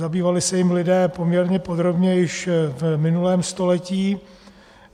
Zabývali se jím lidé poměrně podrobně již v minulém století.